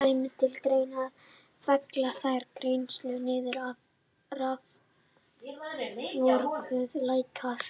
Kæmi til greina að fella þær greiðslur niður ef að raforkuverð lækkar?